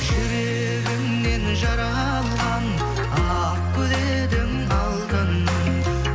жүрегімнен жаралға ақ гүл едің алтыным